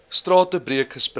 strate breek respek